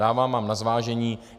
Dávám vám na zvážení.